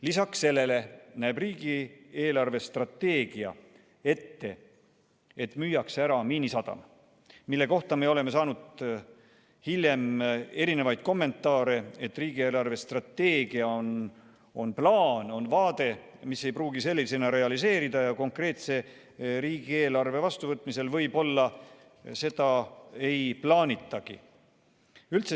Lisaks sellele näeb riigi eelarvestrateegia ette, et müüakse ära Miinisadam, mille kohta me oleme saanud hiljem erinevaid kommentaare, et riigi eelarvestrateegia on plaan, mis ei pruugi sellisena realiseeruda ja konkreetse riigieelarve vastuvõtmisel seda võib-olla ei plaanitagi.